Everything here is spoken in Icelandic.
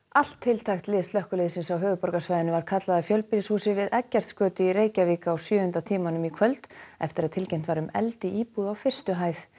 allt tiltækt lið slökkviliðsins á höfuðborgarsvæðinu var kallað að fjölbýlihúsi við Eggertsgötu í Reykjavík á sjöunda tímanum í kvöld eftir að tilkynnt var um eld í íbúð á fyrstu hæð